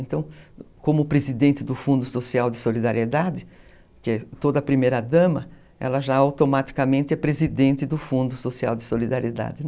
Então, como presidente do Fundo Social de Solidariedade, que é toda a primeira dama, ela já automaticamente é presidente do Fundo Social de Solidariedade.